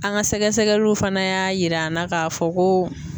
An ka sɛgɛsɛgɛliw fana y'a yir'an na k'a fɔ ko.